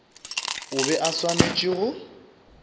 o be a swanetše go